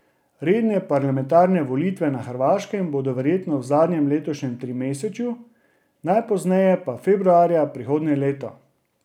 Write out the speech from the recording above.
Redne parlamentarne volitve na Hrvaškem bodo verjetno v zadnjem letošnjem trimesečju, najpozneje pa februarja prihodnje leto.